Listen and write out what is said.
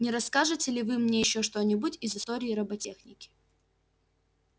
не расскажете ли вы мне ещё что-нибудь из истории роботехники